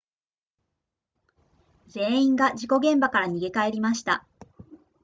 全員が事故現場から逃げ帰りました